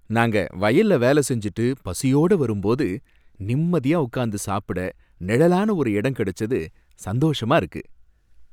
நாங்க வயல்ல வேலை செஞ்சிட்டு பசியோட வரும்போது, நிம்மதியா உட்கார்ந்து சாப்பிட நிழலான ஒரு இடம் கிடச்சது சந்தோஷமா இருக்கு.